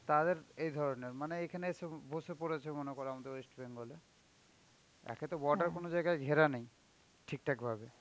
তাদের এ ধরনের মানে এখানে এসে বসে পড়েছে মনে করো আমাদের West Bengal এ. একেতো border কোন জায়গায় ঘেরা নেই ঠিকঠাক ভাবে.